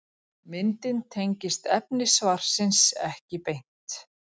Myndin tengist efni svarsins ekki beint.